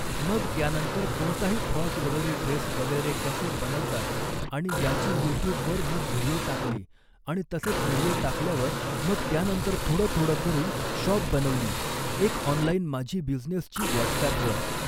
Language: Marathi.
मग त्यानंतर कोणताही फ्रॉक वगैरे ड्रेस वगैरे कसे बनवतात आणि याची यूट्यूबवर मग व्हिडिओ टाकली आणि तसंच व्हिडिओ टाकल्यावर मग त्यानंतर थोडं थोडं करून शॉप बनवली एक ऑनलाईन माझी बिझनेसची व्हॉट्सॲपवर.